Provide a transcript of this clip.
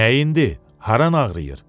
Nəyindi, hara ağrıyır?